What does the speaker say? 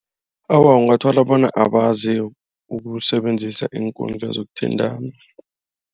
Awa ungathola bona abazi ukusebenzisa iinkundla zokuthintana.